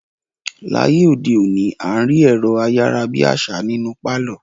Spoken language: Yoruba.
Láyé òde òní, à ń rí ẹ̀rọ-ayára-bí-àṣá nínú pálọ̀.